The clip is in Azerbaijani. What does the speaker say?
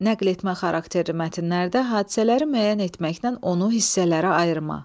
Nəql etmə xarakterli mətnlərdə hadisələri müəyyən etməklə onu hissələrə ayırma.